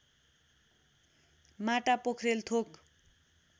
माटा पोख्रेल थोक